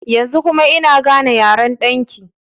Yanzu kuma kina gane yaren ɗan ki?